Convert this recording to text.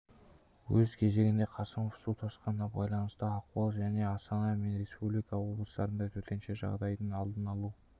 өз кезегінде қасымов су тасқынына байланысты ахуал және астана мен республика облыстарында төтенше жағдайдың алдын алу